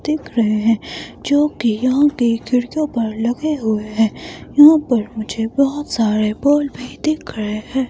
दिख रहे हैं जो कि यहां पे खिड़कियों पर लगे हुए हैं यहां पर मुझे बहोत सारे बॉल भी दिख रहे हैं।